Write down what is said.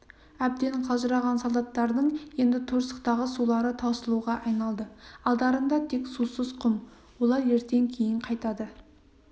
әбден қалжыраған солдаттардың енді торсықтағы сулары таусылуға айналды алдарында тек сусыз құм олар ертең кейін қайтады